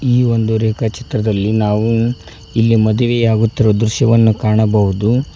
ಈ ಒಂದು ರೇಖಾ ಚಿತ್ರದಲ್ಲಿ ನಾವು ಇಲ್ಲಿ ಮದುವೆಯಾಗುತ್ತಿರುವ ದೃಶ್ಯವನ್ನು ಕಾಣಬಹುದು.